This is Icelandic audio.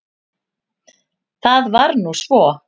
Það var nú svo.